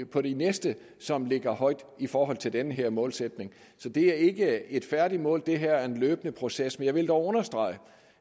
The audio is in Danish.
på de næste som ligger højt i forhold til den her målsætning så det er ikke et færdigt mål det er en løbende proces jeg vil dog understrege